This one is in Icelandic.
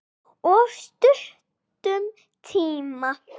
Of stuttum tíma.